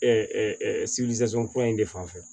kura in de fanfɛ